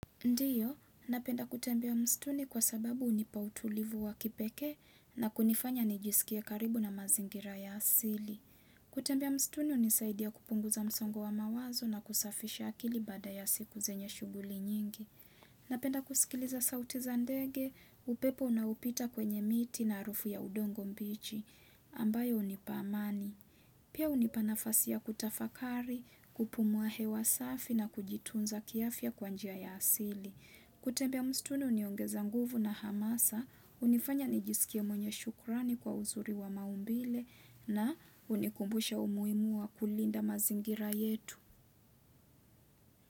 Ndiyo, napenda kutembea mstuni kwa sababu hunipa utulivu wa kipeke na kunifanya nijisikie karibu na mazingira ya asili. Kutembea msituni hunisaidia kupunguza msongo wa mawazo na kusafisha akili baada ya siku zenye shughuli nyingi. Napenda kusikiliza sauti za ndege, upepo unaopita kwenye miti na harufu ya udongo mbuchi, ambayo hunipa amani. Pia hunipa nafasi ya kutafakari, kupumua hewa safi na kujitunza kiafya kwa njia ya asili. Kutembea msituni huniongeza nguvu na hamasa, hunifanya nijisikie mwenye shukurani kwa uzuri wa maumbile na hunikumbusha umuhimua kulinda mazingira yetu.